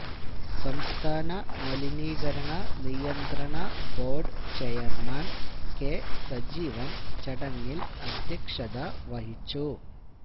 സംഥാനമലിനീകരണ നിയന്ത്രണ board chairman K Sajeevan ചടങ്ങില് അദ്ധ്യക്ഷതവഹിച്ചു